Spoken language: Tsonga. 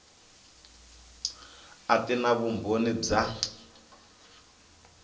a ti na vumbhoni bya